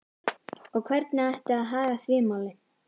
Og hvernig ætti að haga því máli?